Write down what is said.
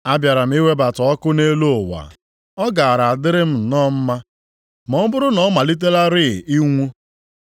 “A bịara m iwebata ọkụ nʼelu ụwa, ọ gaara adịrị m nọ mma ma ọ bụrụ na ọ malitelarị inwu!